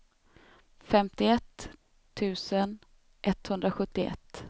femtioett tusen etthundrasjuttioett